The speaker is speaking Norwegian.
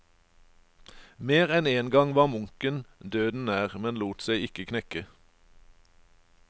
Mer enn én gang var munken døden nær, men lot seg ikke knekke.